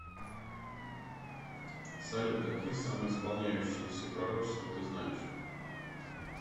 салют какие самоисполняющееся пророчество ты знаешь